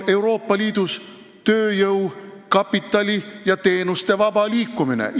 Euroopa Liidus on tööjõu, kapitali ja teenuste vaba liikumine.